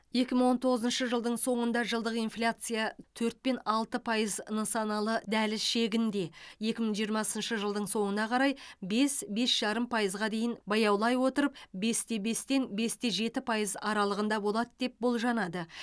екі мың он тоғызыншы жылдың соңында жылдық инфляция төрт пен алты пайыз нысаналы дәліз шегінде екі мың жиырмасыншы жылдың соңына қарай бес бес жарым пайызға дейін баяулай отырып бесте бес бесте жеті пайыз аралығында болады деп болжанады